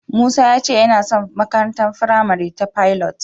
Musa ya ce yana son makarantar firamare ta Pilot.